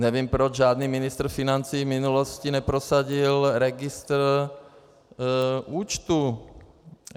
Nevím, proč žádný ministr financí v minulosti neprosadil registr účtů.